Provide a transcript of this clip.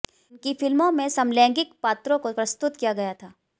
उनकी फिल्मों में समलैंगिक पात्रों को प्रस्तुत किया गया था